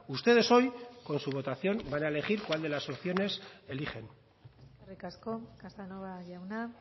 ustedes hoy con su votación van a elegir cuál de las opciones eligen eskerrik asko casanova jauna